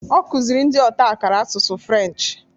Okuziri ndi otakara Asụsụ French